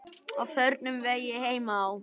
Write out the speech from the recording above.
Á förnum vegi heima á